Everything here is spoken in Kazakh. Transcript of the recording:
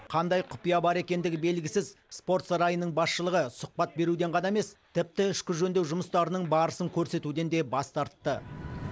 қандай құпия бар екендігі белгісіз спорт сарайының басшылығы сұхбат беруден ғана емес тіпті ішкі жөндеу жұмыстарының барысын көрсетуден де бас тартты